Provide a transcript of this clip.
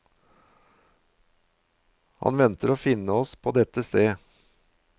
Han venter å finne oss på dette sted.